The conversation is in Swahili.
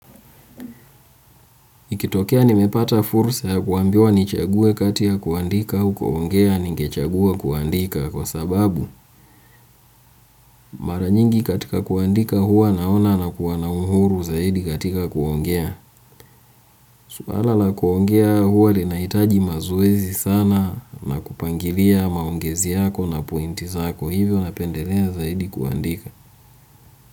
Ikitokea nimepata fursa ya kuambiwa nichague kati ya kuandika au kuongea ningechagua kuandika kwa sababu mara nyingi katika kuandika huwa naona na kuwana uhuru zaidi katika kuongea. Suala na kuongea huwa linahitaji mazoezi sana na kupangilia maongezi yako na pointi zako, hivyo napendelea zaidi kuandika.